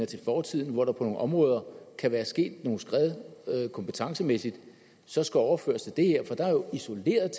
til fortiden hvor der på nogle områder kan være sket nogle skred kompetencemæssigt så skal overføres til det her for der er jo isoleret